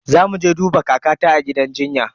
Zamu je duba kakata a gidan jinya.